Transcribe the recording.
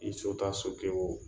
I so taa so kɛ o